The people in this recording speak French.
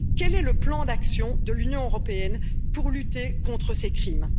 Quel est le plan d'action de l'Union européenne pour lutter contre ces crimes?